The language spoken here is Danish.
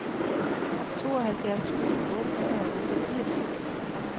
tooghalvfjerds tusind otte hundrede og otteogfirs